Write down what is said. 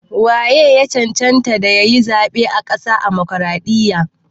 Wa ye ya cancanta ya yi zaɓen ƙasa a Damokaraɗiyya?